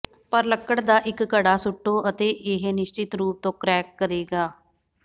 ਪਰ ਲੱਕੜ ਦਾ ਇੱਕ ਘੜਾ ਸੁੱਟੋ ਅਤੇ ਇਹ ਨਿਸ਼ਚਤ ਰੂਪ ਤੋਂ ਕ੍ਰੈਕ ਕਰੇਗਾ